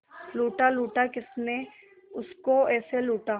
लूटा लूटा किसने उसको ऐसे लूटा